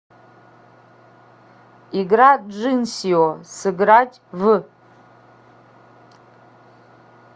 игра джинсио сыграть в